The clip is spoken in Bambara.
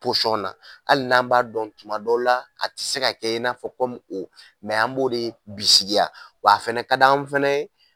Posɔn na ali n'an b'a dɔn tuma dɔw la a ti se ka kɛ in'a fɔ kɔmu o mɛ an b'o de bisigiya wa a fɛnɛ ka d' an fɛnɛ ye